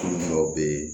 dɔw bɛ ye